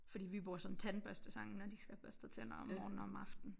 Fordi vi bruger sådan tandbørstesangen når de skal have børstet tænder om morgenen og om aftenen